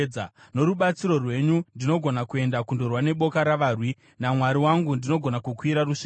Norubatsiro rwenyu ndinogona kuenda kundorwa neboka ravarwi; naMwari wangu ndinogona kukwira rusvingo.